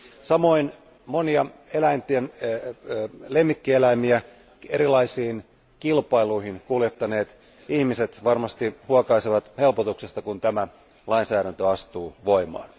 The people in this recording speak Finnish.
Samoin monia lemmikkieläimiä erilaisiin kilpailuihin kuljettaneet ihmiset varmasti huokaisevat helpotuksesta, kun tämä lainsäädäntö astuu voimaan.